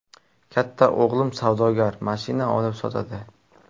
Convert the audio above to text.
Katta o‘g‘lim savdogar, mashina olib sotadi.